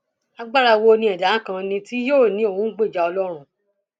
agbára wo ni ẹdá kan ní tí yóò ní òun ń gbèjà ọlọrun